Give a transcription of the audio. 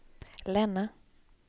Länna